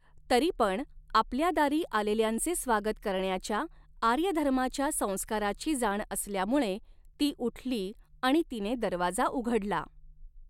तरीपण आपल्यादारीं आलेल्यांचे स्वागत करण्याच्या आर्यधर्माच्या संस्कारा़ची जाण असल्यामुळे ती उठली आणि तिने दरवाजा उघडला.